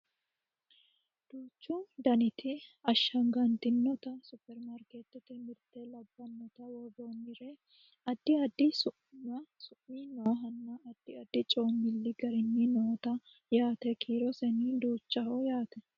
duuchu danita ashshaganntinota supperimarkeettete mirte labbannota worroonnire addi addi su'mi noohanna addi coommilli gari noote yaate kiiroseno duuchaho yaate .